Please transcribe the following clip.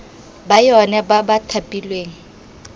ba yona ba ba thapilweng